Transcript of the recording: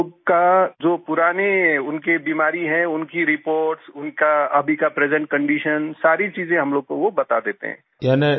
और हम लोग का जो पुरानी उनकी बीमारी है उनकी रिपोर्ट्स उनका अभी का प्रेजेंट कंडीशन सारी चीज़ें वो हम लोग को बता देते हैं